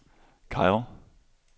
Kairo